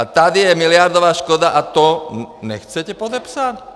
A tady je miliardová škoda a to nechcete podepsat?